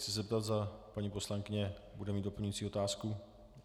Chci se zeptat, zda paní poslankyně bude mít doplňující otázku.